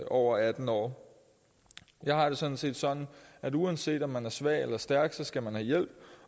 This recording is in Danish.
over atten år jeg har det sådan set sådan at uanset om man er svag eller stærk skal man have hjælp